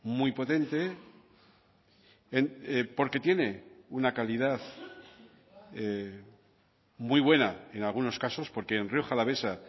muy potente porque tiene una calidad muy buena en algunos casos porque en rioja alavesa